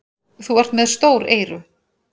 Þú ert með stór eyru.